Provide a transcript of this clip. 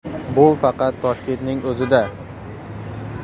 Bu faqat Toshkentning o‘zida.